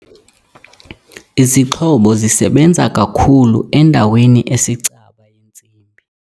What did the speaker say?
Izixhobo zisebenza kakuhle endaweni esicaba yentsimi.